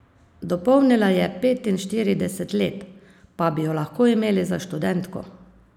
Dopolnila je petinštirideset let, pa bi jo lahko imeli za študentko.